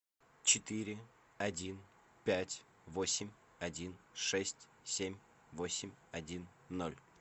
четыре один пять восемь один шесть семь восемь один ноль